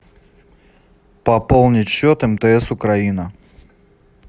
пополнить счет мтс украина